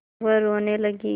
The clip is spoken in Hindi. वह रोने लगी